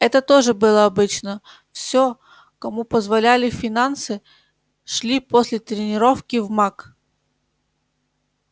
это тоже было обычно все кому позволяли финансы шли после тренировки в мак